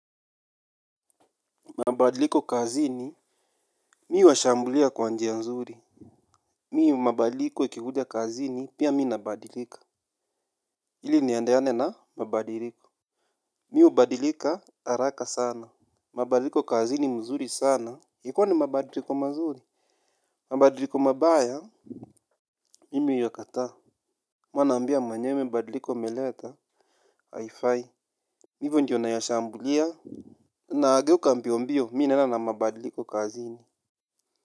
Mabadiliko kazini, mi huwashambulia kwa njia nzuri. Mi mabadiliko ikikuja kazini, pia mi nabadilika. Ili niandayane na mabadiliko. Mi hubadilika, haraka sana. Mabadiliko kazini mzuri sana. Ikiwa ni mabadiliko mazuri. Mabadiliko mabaya, mimi uyakata. Huwa mwenyewe hio mabadiliko umeleta, haifai. Ivyo ndio nayashambulia. Naageuka mbio mbio, mimi naenda na mabadiliko kazini.